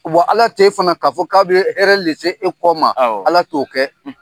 Wa, Ala t'e fana k'a fɔ k'a bɛ de se e kɔ ma. Awɔ. Ala t'o kɛ.